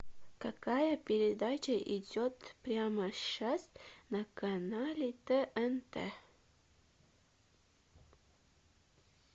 какая передача идет прямо сейчас на канале тнт